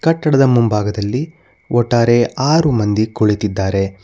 ಕಟ್ಟಡದ ಮುಂಭಾಗದಲ್ಲಿ ಒಟ್ಟಾರೆ ಆರು ಮಂದಿ ಕುಳಿತಿದ್ದಾರೆ.